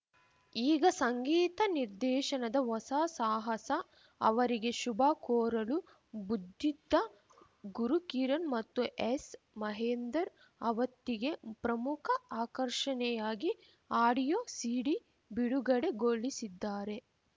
ಈಗ ಸಂಗೀತ ನಿರ್ದೇಶನದ ಹೊಸ ಸಾಹಸ ಅವರಿಗೆ ಶುಭ ಕೋರಲು ಬುದ್ದಿದ್ದ ಗುರುಕಿರಣ್‌ ಮತ್ತು ಎಸ್‌ಮಹೇಂದರ್‌ ಅವತ್ತಿಗೆ ಪ್ರಮುಖ ಆಕರ್ಷಣೆಯಾಗಿ ಆಡಿಯೋ ಸೀಡಿ ಬಿಡುಗಡೆ ಗೊಳಿಸಿದ್ದಾರೆ